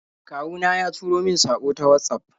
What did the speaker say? Kawu na ya turo min saƙo ta Watsaf.